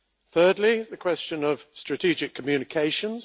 Thirdly, the question of strategic communications.